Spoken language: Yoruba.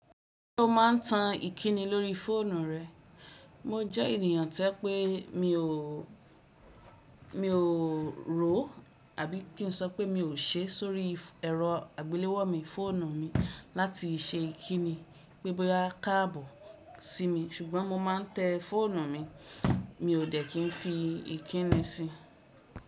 Kó ma n tan íkíni lórí fóònù re? Mo jẹ ènìyàn tẹ pé mi o, mi o rò àbi kí n sọ pé mi o se sórí ẹrọ àgbéléwò mi, fóònù mi láti se íkíni. Pé bóyá kààbò si mi ṣùgbọ́n mo ma n tẹ fóònù mi, mi o dẹ́ ki n fi íkíni si.